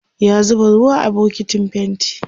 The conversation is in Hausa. ya zuba ruwa a bukitin fainti